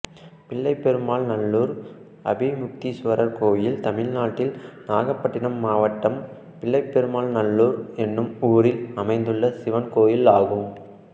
பிள்ளைபெருமாநல்லூர் அபிமுக்தீஸ்வரர் கோயில் தமிழ்நாட்டில் நாகபட்டினம் மாவட்டம் பிள்ளைபெருமாநல்லூர் என்னும் ஊரில் அமைந்துள்ள சிவன் கோயிலாகும்